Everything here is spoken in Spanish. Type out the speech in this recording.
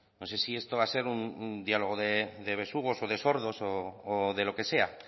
no sé si esto va a ser un diálogo de besugos o de sordos o de lo que sea